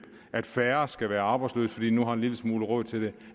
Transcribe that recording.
at færre skal være arbejdsløse fordi vi nu har en lille smule råd til det